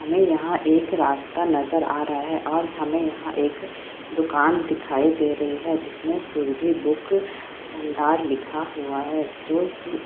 हमें यहाँ एक रास्ता नजर आ रहा है और हमें यहाँ एक दुकान दिखाई दे रही हैं जिस में सूरबी बुक भंडार लिखा हुआ है जो कि --